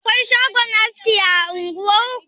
Akwai shagon aski a unguwar ku?